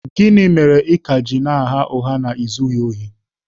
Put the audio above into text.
Gịnị mere ị ka na-agha ụgha ị na-ezubeghị ohi?